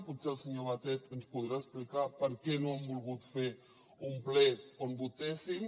potser el senyor batet ens podrà explicar per què no han volgut fer un ple on votéssim